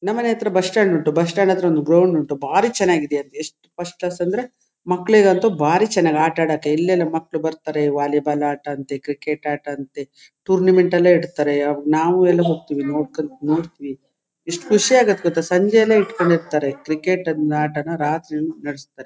ನಮ್ಮನೆ ಹತ್ರ bus stand ಉಂಟು ಬಸ್ ಸ್ಟಾಂಡ್ ಹತ್ರ ಗ್ರೌಂಡ್ ಉಂಟು ಬಾರಿ ಚನ್ನಾಗಿದೆ ಅಲ್ಲಿ ಎಷ್ಟ ಫಸ್ಟ್ ಕ್ಲಾಸ್ ಅಂದ್ರೆ ಮಕ್ಕಳಿಗಂತೂ ಬಾರಿ ಚನ್ನಾಗಿ ಆಟ ಆಡೋಕ್ಕೆ ಇಲೆಲ್ಲಾ ಮಕ್ಕಳು ಬರತಾರೆ ವಾಲಿಬಾಲ್ ಆಟ ಅಂತೇ ಕ್ರಿಕೆಟ್ ಆಟ ಅಂತೇ ಟೂರ್ನಮೆಂಟ್ ಎಲ್ಲಾ ಇಡ್ತರೆ ನಾವು ಎಲ್ಲಾ ಹೊಕತ್ತೀವಿ ನೋಡತ್ತಿವಿ ಎಷ್ಟು ಖುಷಿ ಆಗುತ್ತೆ ಗೊತ್ತಾ ಸಂಜೆಯೆಲ್ಲಾ ಇಟ್ಟಕೊಂಡಿರಿತಾರೇ ಕ್ರಿಕೆಟ್ ಆಟನ ರಾತ್ರಿಯೆಲ್ಲಾ ನಡಸತಾರೆ --